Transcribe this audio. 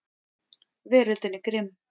Veröldin er grimm.